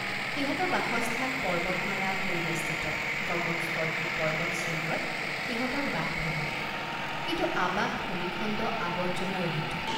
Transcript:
সিহঁতৰ বাসস্থান পৰ্বতমালা পৰিবেষ্টিতগগনস্পৰ্শী পৰ্বত শৃঙ্গত সিহঁতৰ বাসভৱন কিন্তু আবাস ভূমিখণ্ডআৱৰ্জনা ৰহিত।